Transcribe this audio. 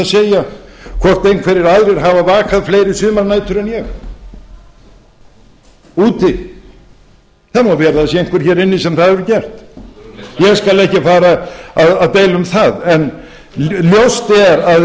segja hvort einhverjir aðrir hafi vakað fleiri sumarnætur en ég úti það má vera að það sé einhver hér inni sem það hefur gert ég skal ekki fara að deila um það en ljóst er að